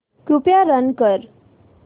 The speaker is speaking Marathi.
कृपया रन कर